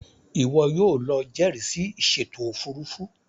Iwọ yóò ló jẹrisi ìsèto òfurufú